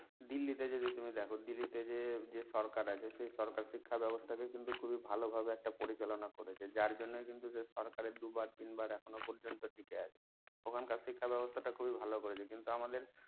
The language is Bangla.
দিল্লি তে যদি তুমি দেখো দিল্লি তে যে যে সরকার আছে সে সরকার শিক্ষা ব্যাবস্থা কে কিন্তু খুব ই ভালো ভাবে একটা পরিচালনা করছে যার জন্য কিন্তু সে সরকার দুবার তিনবার এখনো পর্যন্ত টিকে আছে ওখানকার শিক্ষা ব্যাবস্থা টা অনেক ভালো করেছে কিন্তু আমাদের